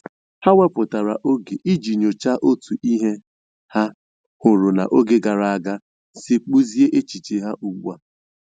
Ha wepụtara oge iji nyochaa otu ihe ha hụrụ n'oge gara aga si kpụzie echiche ha ugbu a.